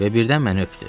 Və birdən məni öpdü.